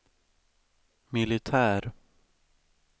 militär